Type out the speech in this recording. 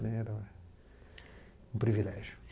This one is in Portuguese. Era um privilégio.